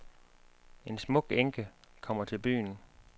En smuk enke kommer til byen.